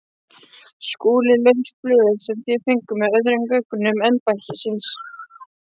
SKÚLI: Laus blöð sem þér fenguð með öðrum gögnum embættisins.